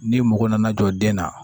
N'i mago nana jɔ den na